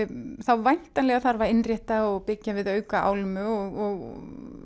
væntanlega þarf að innrétta og byggja við auka álmu og